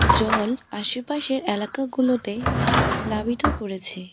জল আশেপাশের এলাকাগুলোতে প্লাবিত করেছে।